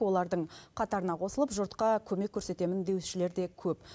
олардың қатарына қосылып жұртқа көмек көрсетемін деушілер де көп